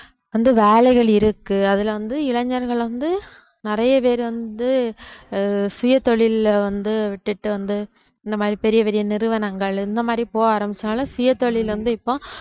வந்து வேலைகள் இருக்கு அதுல வந்து இளைஞர்கள் வந்து நிறைய பேர் வந்து அஹ் சுயதொழில்ல வந்து விட்டுட்டு வந்து இந்த மாதிரி பெரிய பெரிய நிறுவனங்கள் இந்த மாதிரி போக ஆரம்பிச்சனால சுயதொழில் வந்து இப்போ